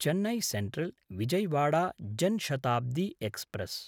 Chennai सेन्ट्रल्–विजयवाडा Jan Shatabdi express